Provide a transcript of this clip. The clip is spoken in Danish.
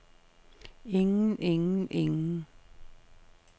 ingen ingen ingen